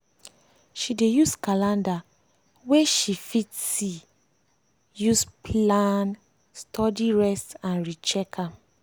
she dey use calender wey she fit see use plan studyrest and recheck am.